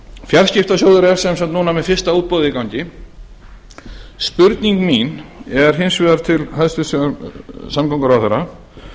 fjarskiptasjóður er sem sagt núna með fyrsta útboð í gangi spurning mín er hins vegar til hæstvirts samgönguráðherra